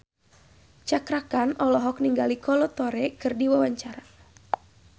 Cakra Khan olohok ningali Kolo Taure keur diwawancara